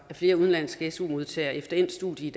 flere udenlandske su modtagere efter endt studie